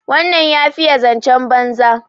wannan ya fiye zancen banza